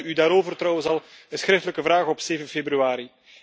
Ik stelde u daarover trouwens al een schriftelijke vraag op 7 februari.